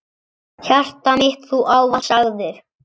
Hjartað mitt Þú ávallt sagðir.